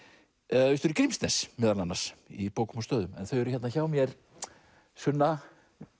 austur í Grímsnes meðal annars í bókum og stöðum en þau eru hérna hjá mér Sunna